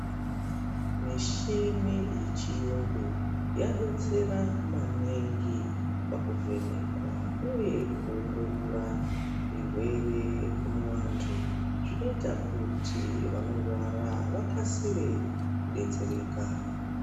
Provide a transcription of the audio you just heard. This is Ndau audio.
Mishini yechiyungu yabetsera maningi pakuvhenekwa uye kuongorora zvirwere muantu zvinoita kuti vanirwara vakasire kudetsereka.